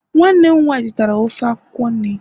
nwanne m nwanyi zụtara ofe akwukwo nri